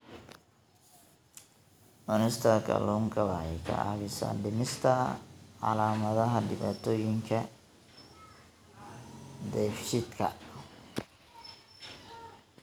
Cunista kalluunka waxa ay caawisaa dhimista calaamadaha dhibaatooyinka dheefshiidka.